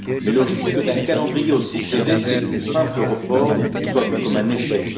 Mais le risque d'un calendrier aussi serré, c'est qu'un simple report soit vu comme un échec.